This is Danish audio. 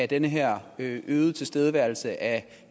den her øgede tilstedeværelse af